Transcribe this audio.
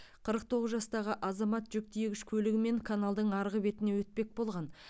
қырық тоғыз жастағы азамат жүк тиегіш көлігімен каналдың арғы бетіне өтпек болған